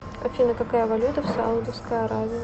афина какая валюта в саудовской аравии